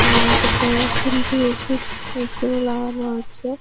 আপকা three D A. C. পিছনে লাগানো আছে।